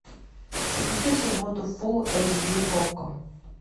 запусти в субботу фулл эйч ди окко